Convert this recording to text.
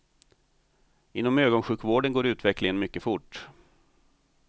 Inom ögonsjukvården går utvecklingen mycket fort.